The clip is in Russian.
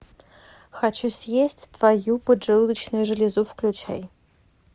хочу съесть твою поджелудочную железу включай